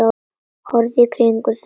Horfðu í kringum þig!